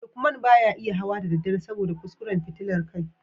Lukman ba ya iya hawa da daddare saboda kuskuren fitilar kai